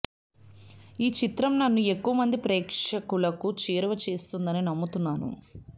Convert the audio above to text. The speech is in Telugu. ఈ చిత్రం నన్ను ఎక్కువమంది ప్రేక్షకులకు చేరువ చేస్తుందని నమ్ముతున్నాను